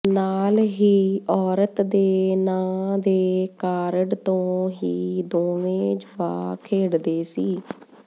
ਨਾਲ ਹੀ ਔਰਤ ਦੇ ਨਾਂ ਦੇ ਕਾਰਡ ਤੋਂ ਹੀ ਦੋਵੇਂ ਜੁਆ ਖੇਡਦੇ ਸੀ